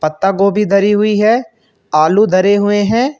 पत्ता गोभी धरी हुई है आलू धरे हुए हैं।